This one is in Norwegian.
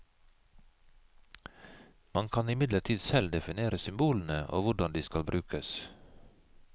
Man kan imidlertid selv definere symbolene og hvordan de skal brukes.